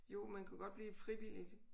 Jo man kunne godt blive frivillig